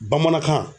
Bamanankan